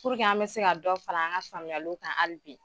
an bɛ se ka dɔ fara an ka faamuyaliw kan ali bi